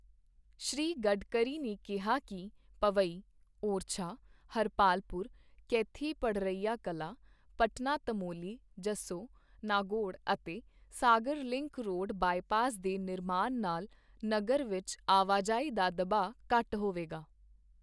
ਸ਼੍ਰੀ ਗਡਕਰੀ ਨੇ ਕਿਹਾ ਕੀ ਪੋਵਈ, ਓਰਛਾ, ਹਰਪਾਲਪੁਰ, ਕੈਥੀ ਪੜ੍ਹਰਿਆ ਕਲਾ, ਪਟਨਾ ਤਮੌਲੀ, ਜੱਸੋ, ਨਾਗੌੜ ਅਤੇ ਸਾਗਰ ਲਿੰਕ ਰੋਡ ਬਾਈਪਾਸ ਦੇ ਨਿਰਮਾਣ ਨਾਲ ਨਗਰ ਵਿੱਚ ਆਵਾਜਾਈ ਦਾ ਦਬਾਅ ਘੱਟ ਹੋਵੇਗਾ।